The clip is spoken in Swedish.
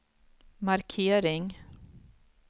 markering